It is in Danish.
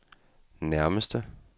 nærmeste